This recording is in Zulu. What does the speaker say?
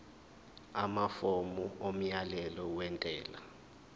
amafomu omyalelo wentela